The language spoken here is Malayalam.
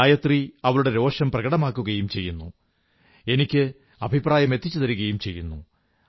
ഗായത്രി അവളുടെ രോഷം പ്രകടമാക്കുകയും ചെയ്യുന്നു എനിക്ക് അഭിപ്രായമെത്തിച്ചുതരുകയും ചെയ്യുന്നു